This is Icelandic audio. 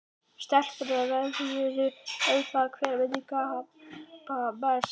Stelpurnar veðjuðu um það hver myndi gapa mest.